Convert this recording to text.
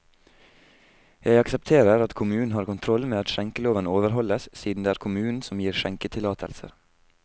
Jeg aksepterer at kommunen har kontroll med at skjenkeloven overholdes, siden det er kommunen som gir skjenketillatelser.